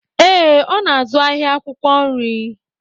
Ee, ọ n'azụ ahịa akwụkwọ nri